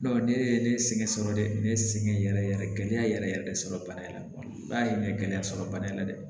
ne ye ne sɛgɛn sɔrɔ dɛ ne sɛgɛn yɛrɛ yɛrɛ gɛlɛya yɛrɛ yɛrɛ de sɔrɔ bana in na ba ye n bɛ gɛlɛya sɔrɔ bana in na dɛ